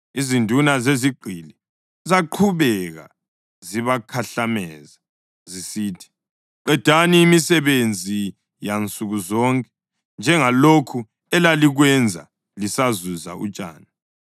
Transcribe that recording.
Izinduna zezigqili zaqhubeka zibakhahlameza zisithi, “Qedani imisebenzi yansuku zonke njengalokho elalikwenza lisazuza utshani.”